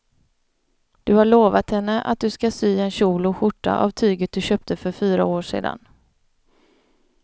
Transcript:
Du har lovat henne att du ska sy en kjol och skjorta av tyget du köpte för fyra år sedan.